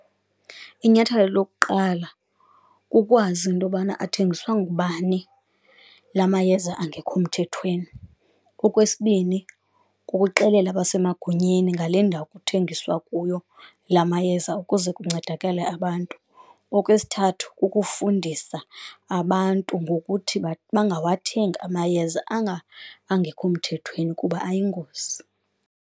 Inyathelo lokuqala kukwazi into yobana athengiswa ngubani la mayeza engekho mthethweni. Okwesibini, kukuxelela abasemagunyeni ngale ndawo kuthengiswa kuyo la mayeza ukuze kuncedakale abantu. Okwesithathu, kukufundisa abantu ngokuthi bangawathengi amayeza angengekho mthethweni kuba ayingozi.